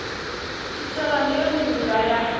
tshitshavha ndi yone ndila ya